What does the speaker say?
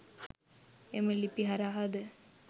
එම ලිපි හරහාද